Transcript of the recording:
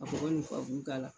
Ka sogo ni k'a la.